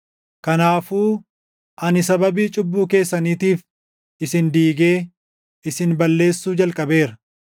Kanaafuu ani sababii cubbuu keessaniitiif isin diigee, isin balleessuu jalqabeera.